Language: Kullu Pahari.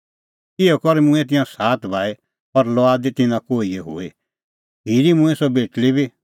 इहअ करै मूंऐं तिंयां सात भाई और लुआद निं तिन्नां कोहिए हुई खिरी मूंईं सह बेटल़ी बी